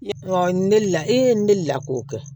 Ɔ ne deli la e deli la k'o kɛ